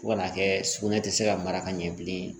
Fo ka n'a kɛ sugunɛ tɛ se ka mara ka ɲɛ bilen